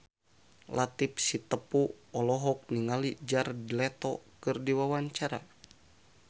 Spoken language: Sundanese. Latief Sitepu olohok ningali Jared Leto keur diwawancara